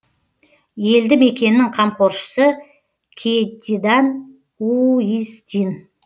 елді мекеннің қамқоршысы кьетидан иустин